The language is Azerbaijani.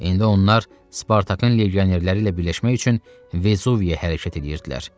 İndi onlar Spartakın legionerləri ilə birləşmək üçün Vezuviyə hərəkət eləyirdilər.